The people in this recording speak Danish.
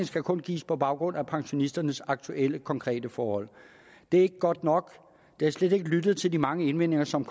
skal kun gives på baggrund af pensionisternes aktuelle konkrete forhold det er ikke godt nok der er slet ikke blevet lyttet til de mange indvendinger som